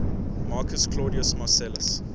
marcus claudius marcellus